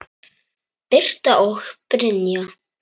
Birta og Brynja.